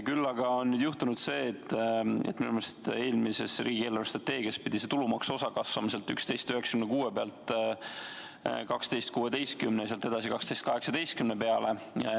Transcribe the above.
Küll aga on juhtunud see, et minu meelest eelmises riigi eelarvestrateegias pidi tulumaksuosa kasvama 11,96 pealt 12,16-le ja sealt edasi 12,18 peale.